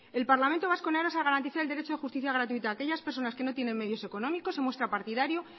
el parlamento vasco en aras de garantizar el derecho de justicia gratuita a aquellas personas que no tienen medios económicos se muestra partidario